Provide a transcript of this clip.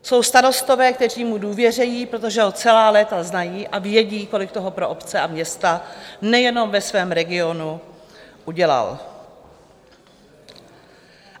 Jsou starostové, kteří mu důvěřují, protože ho celá léta znají a vědí, kolik toho pro obce a města, nejen ve svém regionu, udělal.